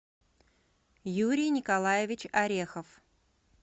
юрий николаевич орехов